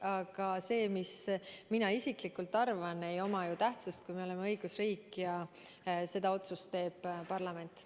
Aga see, mida mina isiklikult arvan, ei oma ju tähtsust, kui me oleme õigusriik ja selle otsuse teeb parlament.